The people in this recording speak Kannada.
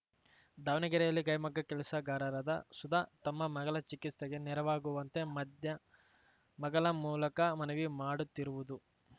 ದಾವಣಗೆರೆಯಲ್ಲಿ ಕೈಮಗ್ಗ ಕೆಲಸಗಾರರಾದ ಸುಧಾ ತಮ್ಮ ಮಗಳ ಚಿಕಿಸ್ತೆಗೆ ನೆರವಾಗುವಂತೆ ಮಧ್ಯಮಗಳ ಮೂಲಕ ಮನವಿ ಮಾಡುತ್ತಿರುವುದು